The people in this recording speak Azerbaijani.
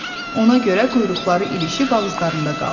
Ona görə quyruqları ilişib ağızlarında qaldı.